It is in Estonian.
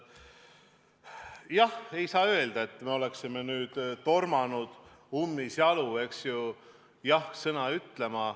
Jah, ei saa öelda, et me oleksime ummisjalu tormanud jah-sõna ütlema.